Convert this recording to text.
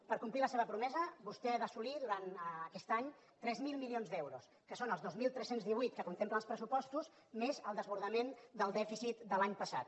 per complir la seva promesa vostè ha d’assolir durant aquest any tres mil milions d’euros que són els dos mil tres cents i divuit que contemplen els pressupostos més el desbordament del dèficit de l’any passat